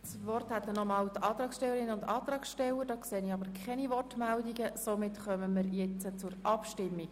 Da die Antragstellerinnen und Antragsteller das Wort nicht mehr verlangen, kommen wir zur Abstimmung.